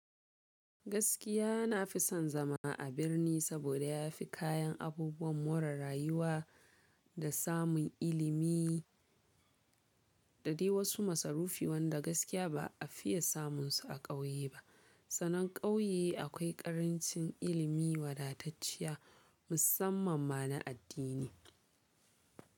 Gaskiya na fi son zama a birni saboda ya fi kayan abubuwan more rayuwa da samun ilimi da dai wasu masarufi wanda gaskiya ba a fiye samun su a ƙauye ba. Sanan ƙauye akwai ƙarancin ilimi wadatacciya musamman ma na addini.